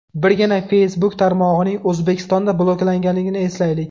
Birgina Facebook tarmog‘ining O‘zbekistonda bloklanganini eslaylik.